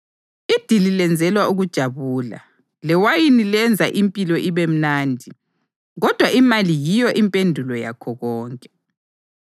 Idili lenzelwa ukujabula, lewayini lenza impilo ibe mnandi, kodwa imali yiyo impendulo yakho konke.